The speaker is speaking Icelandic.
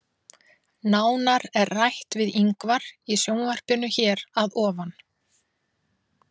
Nánar er rætt við Ingvar í sjónvarpinu hér að ofan.